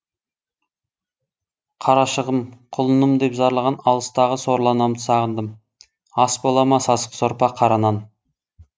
қарашығым құлыным деп зарлаған алыстағы сорлы анамды сағындым ас бола ма сасық сорпа қара нан